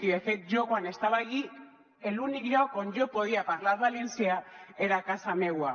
i de fet jo quan estava allí l’únic lloc on jo podia parlar valencià era a casa meua